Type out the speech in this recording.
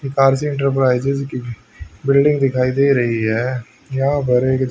ये कार्सी इंटरप्राइजेज की बिल्डिंग दिखाई दे रही है यहाँ पर एक--